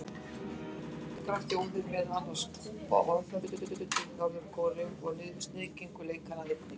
Nokkrar þjóðir, meðal annarra Kúba og Eþíópía, studdu Norður-Kóreu og sniðgengu leikana einnig.